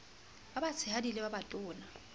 ba batshehadi le ba batona